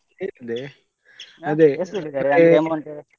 ಕೇಳಿದ್ದೆ ಅದೇ.